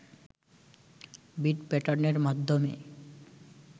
bit প্যাটার্নের মাধ্যমে